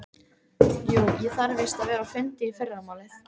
Jú, ég þarf víst að vera á fundi í fyrramálið.